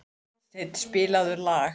Guðstein, spilaðu lag.